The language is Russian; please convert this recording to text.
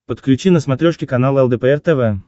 подключи на смотрешке канал лдпр тв